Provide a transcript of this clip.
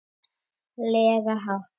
lega hátt.